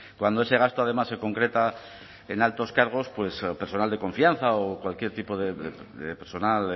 cuando ese gasto además se concreta en altos cargos personal de confianza o cualquier tipo de personal